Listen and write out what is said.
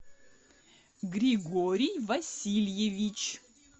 григорий васильевич